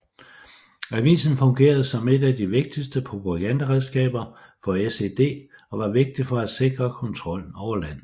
Avisen fungerede som et af de vigtigste propagandaredskaber for SED og var vigtig for at sikre kontrollen over landet